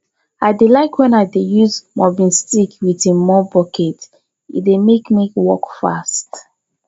i dey like wen i dey use mopping stick wit im mop bucket e dey mek work fast